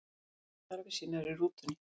Gerði þarfir sínar í rútunni